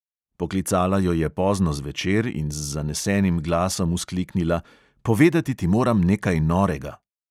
Poklicala jo je pozno zvečer in z zanesenim glasom vzkliknila: "povedati ti moram nekaj norega!"